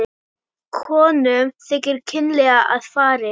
Konum þykir kynlega að farið.